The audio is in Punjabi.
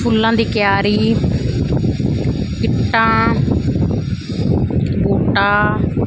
ਫੁੱਲਾਂ ਦੀ ਕਿਆਰੀ ਇੰਟਾਂ ਬੂਟਾ--